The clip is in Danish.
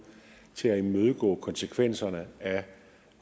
til at imødegå konsekvenserne at